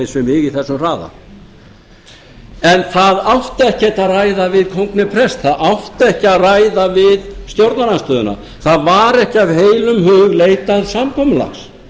mig á þessum hraða en það átti ekkert að ræða við kóng né prest það átti ekki að ræða við stjórnarandstöðuna það var ekki af heilum hug leitað samkomulags